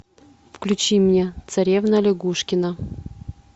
включи мне царевна лягушкина